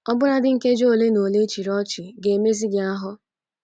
Ọbụnadị nkeji ole na ole ị chịrị ọchị ga - emezi gị ahụ.